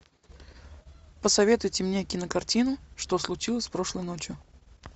посоветуйте мне кинокартину что случилось прошлой ночью